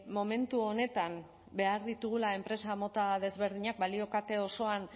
momentu honetan behar ditugula enpresa mota desberdinak balio kate osoan